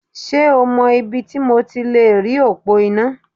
Ṣé o mọ ibi ti mo ti lèrí òpó iná?